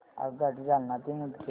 आगगाडी जालना ते मुदखेड